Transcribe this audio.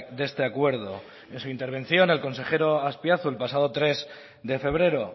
de este acuerdo en su intervención el consejero azpiazu el pasado tres de febrero